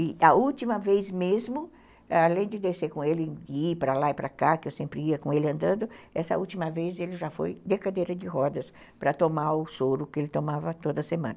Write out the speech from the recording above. E a última vez mesmo, além de descer com ele e ir para lá e para cá, que eu sempre ia com ele andando, essa última vez ele já foi de cadeira de rodas para tomar o soro que ele tomava toda semana.